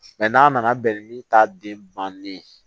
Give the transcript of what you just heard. n'a nana bɛn ni taden bannen ye